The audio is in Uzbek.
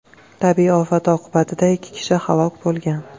Tabiiy ofat oqibatida ikki kishi halok bo‘lgan.